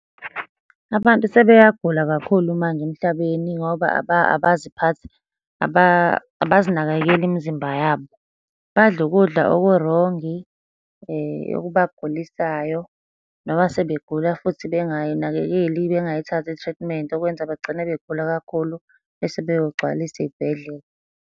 Abantu sebeyagula kakhulu manje emhlabeni, ngoba abaziphathi, abazinakekeli imizimba yabo. Badla ukudla okurongi okubagulisayo, noma sebegula futhi bengay'nakekeli, bengayithathi i-treatment. Okwenza bagcine begula kakhulu, bese beyogcwalisa iy'bhedlela.